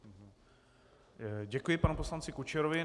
Děkuji panu poslanci Kučerovi.